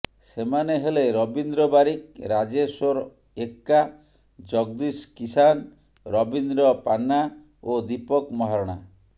ସେମାନେ ହେଲେ ରବୀନ୍ଦ୍ର ବାରିକ ରାଜେଶ୍ୱର ଏକ୍କା ଜଗଦୀଶ କିସାନ ରବୀନ୍ଦ୍ର ପାନ୍ନା ଓ ଦୀପକ ମହାରଣା